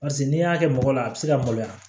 Paseke n'i y'a kɛ mɔgɔ la a bɛ se ka maloya